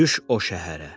"Düş o şəhərə.